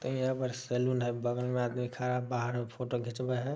हीया पे सेलून है। बगल में आदमी खड़ा बाहर मे फोटो घीचवे हेय।